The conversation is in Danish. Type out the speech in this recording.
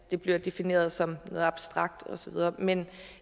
det bliver defineret som noget abstrakt og så videre men